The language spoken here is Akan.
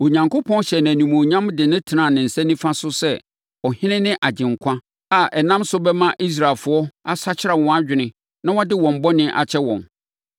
Onyankopɔn hyɛɛ no animuonyam de no tenaa ne nsa nifa so sɛ Ɔhene ne Agyenkwa a ɛnam so bɛma Israelfoɔ asakyera wɔn adwene na wɔde wɔn bɔne akyɛ wɔn.